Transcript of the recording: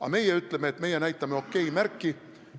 Aga meie ütleme, et meie näitame OK-märki.